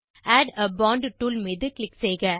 add a point tool மீது click செய்க